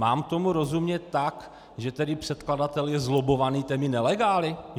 Mám tomu rozumět tak, že tedy předkladatel je zlobbovaný těmi nelegály?